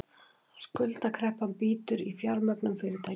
Skuldakreppan bítur í fjármögnun fyrirtækja